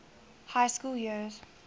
high school years